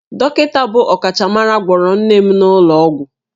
Dọkịta bụ ọkachamara gwọrọ nne m n'ụlọ ọgwụ